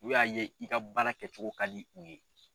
U y'a ye i ka baara kɛcogo ka di u ye.